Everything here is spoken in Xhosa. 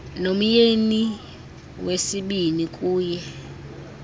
nomyeni wesibini kuye